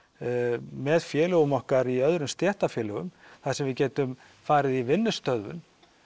með félögum okkar í öðrum stéttarfélögum þar sem við getum farið í vinnustöðvun